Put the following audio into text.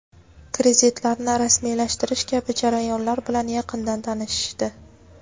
kreditlarni rasmiylashtirish kabi jarayonlar bilan yaqindan tanishishdi.